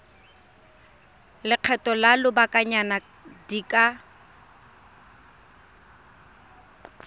lekgetho la lobakanyana di ka